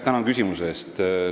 Tänan küsimuse eest!